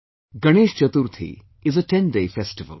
Ganesh Chaturthi is a tenday festival